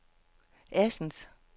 Assens